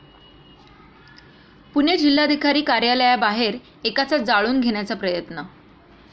पुणे जिल्हाधिकारी कार्यालयाबाहेर एकाचा जाळून घेण्याचा प्रयत्न